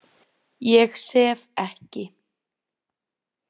Ég sef ekki.